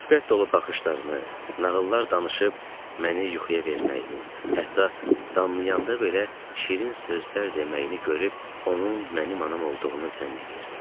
Şəfqət dolu baxışlarını, nağıllar danışıb məni yuxuya verməyini, hətta damlayanda belə şirin sözlər deməyini görüb onun mənim anam olduğunu zənn eləyirdim.